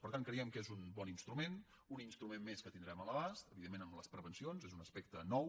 per tant creiem que és un bon instrument un instrument més que tindrem a l’abast evidentment amb les prevencions és un aspecte nou